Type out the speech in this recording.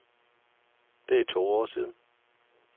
Det er to år siden.